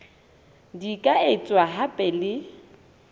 di ka etswa hape le